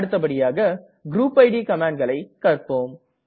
அடுத்தபடியாக group it கமாண்ட்களை கற்ப்போம்